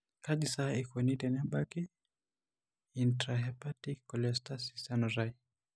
Kaji sa eikoni tenebaki eintrahepatic cholestasis enutai?